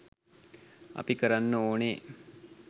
අපි කරන්න ඕනේ